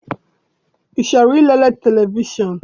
I chọrọ I lere televishọn?